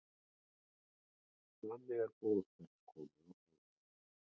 Þannig eru boð þess komin á framfæri.